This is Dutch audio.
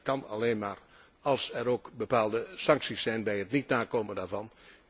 Dat kan alleen maar als er ook bepaalde sancties zijn bij het niet nakomen daarvan.